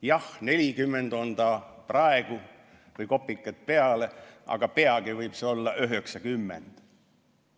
Jah, 40 on ta praegu või kopikad peale, aga peagi võib see olla 90.